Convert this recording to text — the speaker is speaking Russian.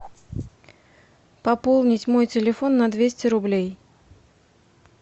пополнить мой телефон на двести рублей